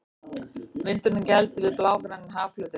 Vindurinn gældi við blágrænan hafflötinn.